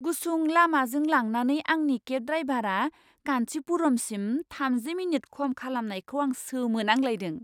गुसुं लामाजों लांनानै आंनि केब ड्रायभारा कान्चीपुरमसिम थामजि मिनिट खम खालामनायखौ आं सोमोनांलायदों!